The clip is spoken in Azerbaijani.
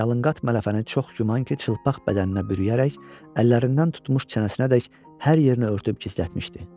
Yalınqat mələfənin çox güman ki, çılpaq bədəninə bürüyərək, əllərindən tutmuş çənəsinə dək hər yerini örtüb gizlətmişdi.